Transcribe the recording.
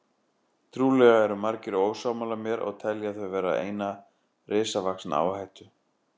Trúlega eru margir ósammála mér og telja þau vera eina risavaxna áhættu.